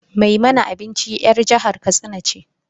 Mai mana abinci 'yar jihar katsina ce.